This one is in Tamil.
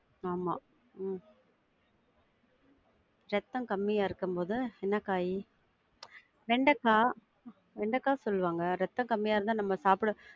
ஆமா உம் இரத்தம் கம்மியா இருக்கும் போது என்ன காய்? வெண்டக்கா வெண்டக்கா சொல்லுவாங்க இரத்தம் கம்மியா இருந்தா நம்ம சாப்பிட~